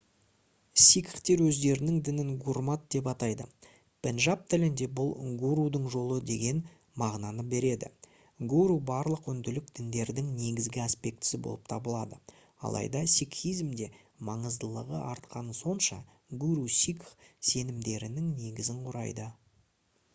сикхтер өздерінің дінін «гурмат» деп атайды. пенджаб тілінде бұл «гурудың жолы» деген мағынаны береді. гуру барлық үнділік діндердің негізгі аспектісі болып табылады алайда сикхизмде маңыздылығы артқаны сонша гуру сикх сенімдерінің негізін құрайды